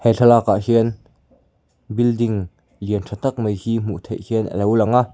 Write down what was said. he thlalakah hian building lian ṭha tak mai hi hmuh theih hian a lo lang a.